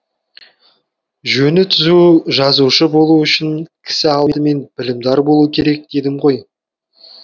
жөні түзу жазушы болу үшін кісі алдымен білімдар болу керек дедім ғой